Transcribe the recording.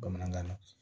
Bamanankan na